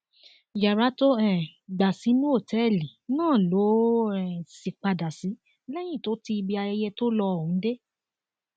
yàrá tó um gbà sínú òtẹẹlì náà ló um sì padà sí lẹyìn tó ti ibi ayẹyẹ tó lo ohùn dé